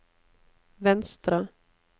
venstre